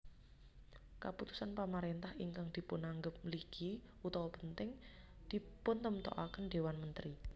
Kaputusan pamarentah ingkang dipunanggep mligi/penting dipuntemtokaken Dewan Menteri